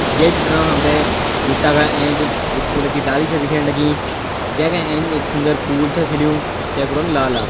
यै चित्र म हमते एक बीटा के ऐंच एक फूल क डाली छा दिख्याणी लगीं जेंका ऐंच एक सुन्दर फूल छै खिलयूं जेकु रंग लाल।